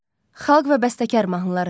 Xalq və bəstəkar mahnıları.